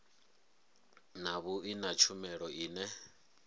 na vhui na tshumelo ine